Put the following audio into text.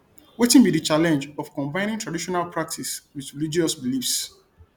wetin be di challenge of combining traditional practices with religious beliefs